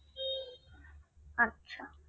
আচ্ছা